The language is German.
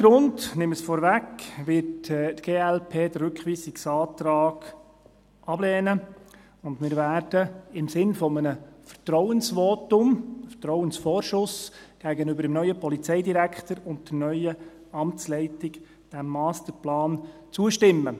Deshalb – ich nehme es vorweg – wird die glp den Rückweisungsantrag ablehnen, und wir werden diesem Masterplan im Sinne eines Vertrauensvorschusses gegenüber dem neuen Polizeidirektor und der neuen Amtsleitung zustimmen.